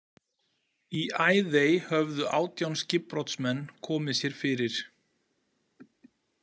Í Æðey höfðu átján skipbrotsmenn komið sér fyrir.